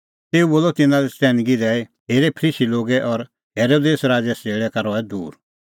तेऊ बोलअ तिन्नां लै चतैनगी दैई हेरे फरीसी लोगे और हेरोदेस राज़े सज़ेल़ै का रहै दूर